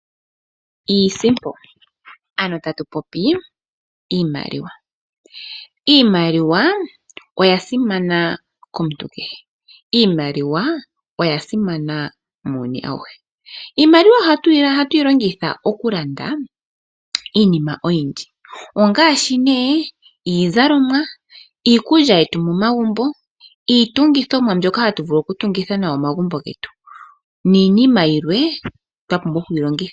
Iisimpo ano tatu popi iimaliwa. Iimaliwa oya simana komuntu kehe. Iimaliwa oya simana muuyuni awuhe. Iimaliwa oha tuyi longitha oku landa iinima oyindji, ongaashi nee iizalomwa, iikulya yetu mo magumbo, iitungithomwa mbyoka hatu vulu oku tungitha nayo omagumbo getu. Niinima yilwa twa pumbwa okuyi longitha.